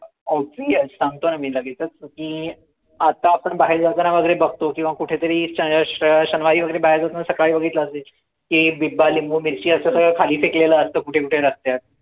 ok सांगतोय लगेचच की आता आपण बाहेर बघतो किंव्हा कुठे तरी श शनिवारी वगैरे बाहेर जातांना सकाळी बघितलं असेल की बिब्बा, लिंबू, मिरची असं सगळं खाली फेकलेला असत कुठे कुठे रस्त्यात